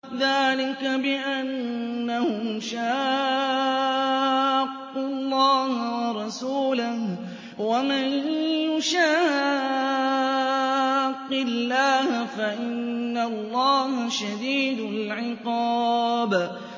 ذَٰلِكَ بِأَنَّهُمْ شَاقُّوا اللَّهَ وَرَسُولَهُ ۖ وَمَن يُشَاقِّ اللَّهَ فَإِنَّ اللَّهَ شَدِيدُ الْعِقَابِ